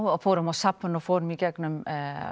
og fórum á safn og fórum í gegnum